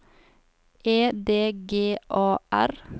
E D G A R